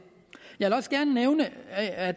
jeg vil også gerne nævne at